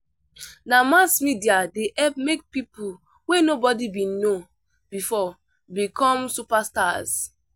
Na mass media dey help make people wey nobody been know before become superstars.